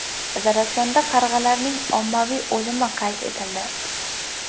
Zarafshonda qarg‘alarning ommaviy o‘limi qayd etildi.